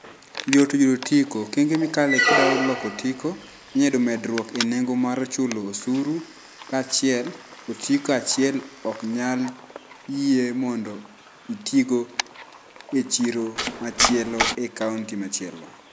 Yot yudo otiko. Okenge mikale kidwa yudo otiko inyalo yudo medruok enengo mar chulo osuru, ka achiel, otiko achiel ok nyal yie mondo itigo e chiro machielo e kaonti machielo.